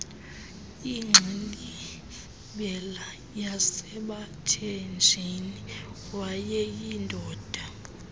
ingxilimbela yasebathenjini wayeyindoda